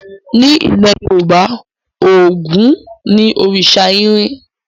Nílẹ̀ Yorùbá, Ògún ni òrìṣa irin.